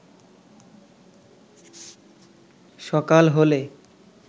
সকাল হলে